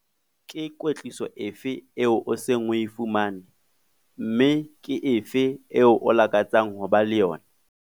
Ke kwetliso efe eo o seng o e fumane, mme ke efe eo o lakatsang ho ba le yona?